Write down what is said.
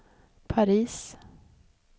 Paris